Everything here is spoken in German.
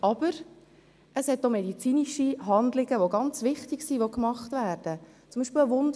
Aber es gibt auch medizinische Handlungen, die gemacht werden und ganz wichtig sind.